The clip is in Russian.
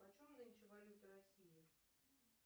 почем нынче валюта россии